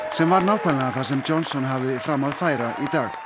sem var nákvæmlega það sem Johnson hafði fram að færa í dag